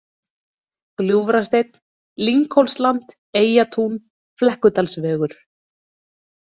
Gljúfrasteinn, Lynghólsland, Eyjatún, Flekkudalsvegur